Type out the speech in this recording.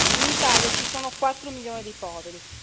In Italia ci sono 4 milioni di poveri.